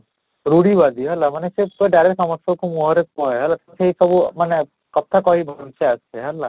ରୂଢି ବାଜି ମାନେ ସେ ପୁରା direct ସମସ୍ତଙ୍କ ମୁହଁରେ କୁହେ ହେଲେ ସେଇ ସବୁ ମାନେ କଥା କହିବା ଭଲସେ ଆସେ ହେଲା